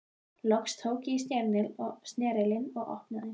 Loks tók ég í snerilinn og opnaði.